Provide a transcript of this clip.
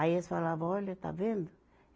Aí eles falavam, olha, está vendo?